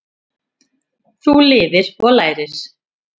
Þú lifir og lærir.